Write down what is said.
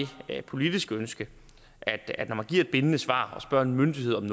politiske ønske at at når man giver et bindende svar og spørger en myndighed om